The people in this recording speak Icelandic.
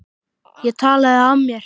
Ég talaði af mér.